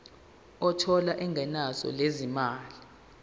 othola ingeniso lezimali